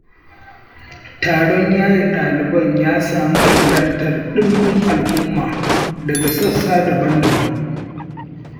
Taron yaye ɗaliban ya sami halartar ɗimbin al'umma daga sassa daban-daban.